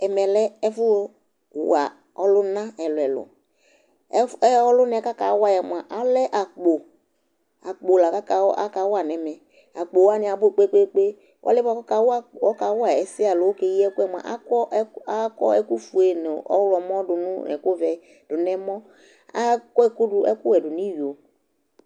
Ɛmɛ lɛ ɛfʋwa ɔlʋna ɛlʋ-ɛlʋ Ɛfʋ ɛ ɔlʋna yɛ kʋ akawa yɛ mʋa, alɛ akpo Akpo la kʋ aka akawa nʋ ɛmɛ Akpo wanɩ abʋ kpe-kpe-kpe Ɔlʋ yɛ bʋa kʋ ɔkawa akp ɔkawa ɛsɛ yɛ alo ɔkeyi ɛkʋ yɛ mʋa, akɔ ɛk akɔ ɛkʋfue nʋ ɔɣlɔmɔ dʋ nʋ nʋ ɛkʋvɛ dʋ nʋ ɛmɔ Akɔ ɛkʋ dʋ ɛkʋwɛ dʋ nʋ iyo